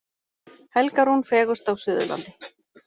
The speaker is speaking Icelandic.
Helga Rún fegurst á Suðurlandi